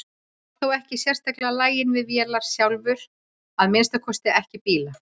Hann var þó ekkert sérstaklega laginn við vélar sjálfur, að minnsta kosti ekki bíla.